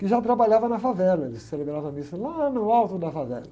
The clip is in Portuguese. que já trabalhava na favela, ele celebrava a missa lá no alto da favela.